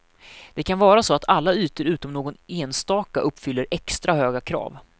Det kan vara så att alla ytor utom någon enstaka uppfyller extra höga krav.